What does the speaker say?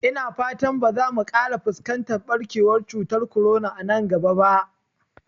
Ina fata ba za mu ƙara fuskantar ɓarkewar cutar korona nan gaba ba